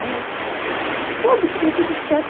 Aí ela falou, ai que já soube que deu tudo certo.